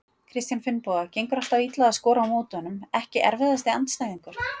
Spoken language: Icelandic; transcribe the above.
Kristján Finnboga, gengur alltaf illa að skora á móti honum Ekki erfiðasti andstæðingur?